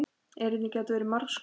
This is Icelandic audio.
Erindin gátu verið margs konar.